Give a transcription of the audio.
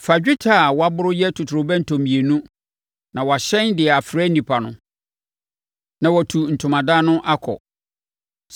“Fa dwetɛ a wɔaboro yɛ ntotorobɛnto mmienu na wɔahyɛn de afrɛ nnipa no, na watu ntomadan no akɔ.